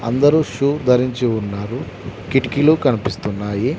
అందరూ షూ ధరించి ఉన్నారు కిటికీలు కనిపిస్తున్నాయి.